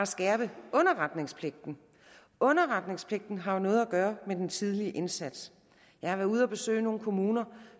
skærpe underretningspligten underretningspligten har noget at gøre med den tidlige indsats jeg har været ude at besøge nogle kommuner